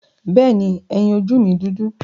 Bẹ́ẹ̀ni, ẹyin ojú mi dúdú.